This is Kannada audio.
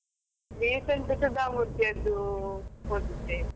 Recent ಸುಧಾಮೂರ್ತಿದ್ದು ಓದಿದ್ದೆ ಸುಧಾಮೂರ್ತಿ, ಸುಧಾಮೂರ್ತಿಯವರದ್ದು novel ಬರೀತಾರೆ.